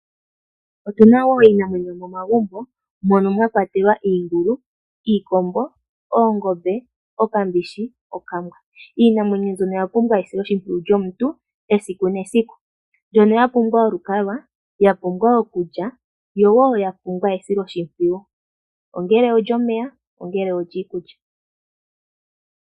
Otuna wo iinamwenyo yo momagumbo mono mwa kwatelwa iingulu, iikombo, oongombe, okambishi, okambwa. Iinamwenyo mbyono oya pumbwa esilo shimpwiyu shomuntu esiku nesiku. Mbyono ya pumbwa olukalwa, ya pumbwa okulya yo wo ya pumbwa esilo shimpwiyu ongele olyomeya, ongele olyiikulya.